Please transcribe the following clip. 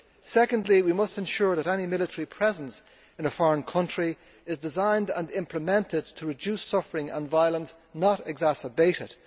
Secondly, we must ensure that any military presence in a foreign country is designed and implemented to reduce suffering and violence, not exacerbate it.